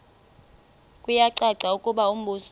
kuyacaca ukuba umbuso